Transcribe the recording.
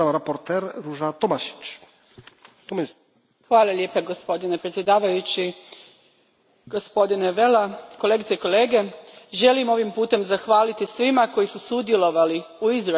Gospodine predsjedniče, gospodine Vella, kolegice i kolege, želim ovim putem zahvaliti svima koji su sudjelovali u izradi ovog izvješća i svima koji će ga podržati na glasovanju.